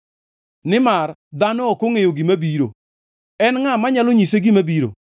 Nimar dhano ok ongʼeyo gima biro, en ngʼa manyalo nyise gima biro?